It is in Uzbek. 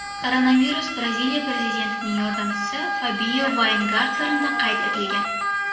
Koronavirus Braziliya prezidentining yordamchisi Fabio Vayngarternda qayd etilgan.